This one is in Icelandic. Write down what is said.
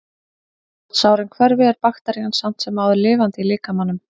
Þótt sárin hverfi er bakterían samt sem áður lifandi í líkamanum.